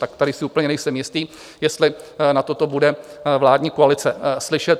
Tak tady si úplně nejsem jistý, jestli na toto bude vládní koalice slyšet.